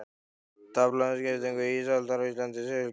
Tafla um skiptingu ísaldar á Íslandi í segulskeið.